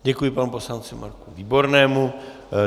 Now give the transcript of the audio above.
Děkuji panu poslanci Marku Výbornému.